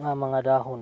nga mga dahon